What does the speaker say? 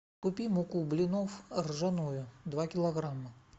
купи муку блинов ржаную два килограмма